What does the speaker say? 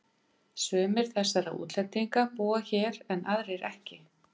Sumir þessara útlendinga búa hér en aðrir ekki.